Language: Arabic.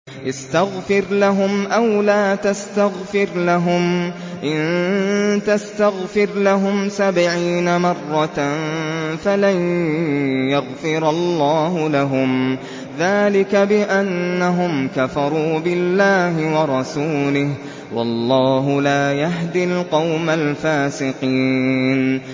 اسْتَغْفِرْ لَهُمْ أَوْ لَا تَسْتَغْفِرْ لَهُمْ إِن تَسْتَغْفِرْ لَهُمْ سَبْعِينَ مَرَّةً فَلَن يَغْفِرَ اللَّهُ لَهُمْ ۚ ذَٰلِكَ بِأَنَّهُمْ كَفَرُوا بِاللَّهِ وَرَسُولِهِ ۗ وَاللَّهُ لَا يَهْدِي الْقَوْمَ الْفَاسِقِينَ